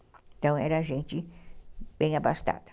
Então, era gente bem abastada.